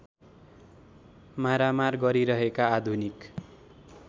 मारामार गरिरहेका आधुनिक